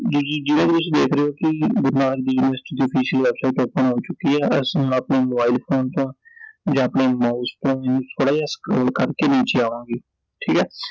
ਜਿਵੇਂ ਕਿ ਤੁਸੀਂ ਦੇਖ ਰਹੇ ਓ ਕਿ ਗੁਰੂ ਨਾਨਕ ਦੇਵ ਯੂਨੀਵਰਸਿਟੀ ਦੀ official website open ਹੋ ਚੁਕੀ ਐ I ਇਸਨੂੰ ਆਪਣੇ ਮੋਬਾਈਲ ਫੋਨ ਤੋਂ ਜਾਂ ਆਪਣੇ Mouse ਤੋਂ ਜਿਵੇਂ ਥੋੜ੍ਹਾ ਜੇਹਾ scroll ਕਰਕੇ ਨੀਚੇ ਆਵਾਂਗੇ I ਠੀਕ ਐ